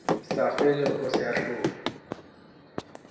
sa felego se a hlola